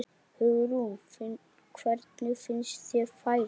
Hugrún: Hvernig finnst þér færið?